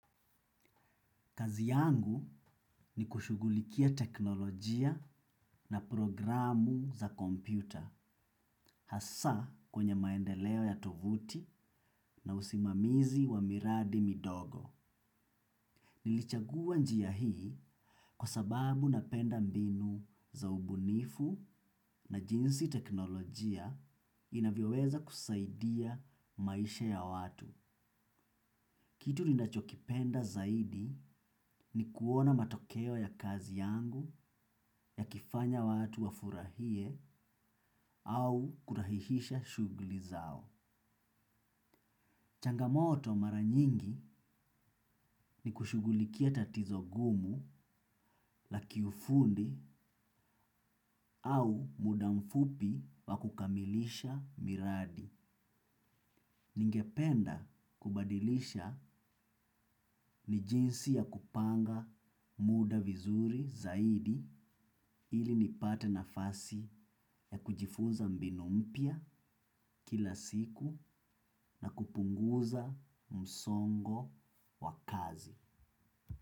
Kazi yangu ni kushugulikia teknolojia na programu za kompyuta, hasa kwenye maendeleo ya tovuti na usimamizi wa miradi midogo. Nilichagua njia hii kwa sababu napenda mbinu za ubunifu na jinsi teknolojia inavyoweza kusaidia maisha ya watu. Kitu ninachokipenda zaidi ni kuona matokeo ya kazi yangu yakifanya watu wafurahie au kurahihisha shuguli zao. Changamoto mara nyingi ni kushugulikia tatizo gumu la kiufundi au muda mfupi wa kukamilisha miradi. Ningependa kubadilisha ni jinsi ya kupanga muda vizuri zaidi ili nipate nafasi ya kujifuza mbinu mpya kila siku na kupunguza msongo wa kazi.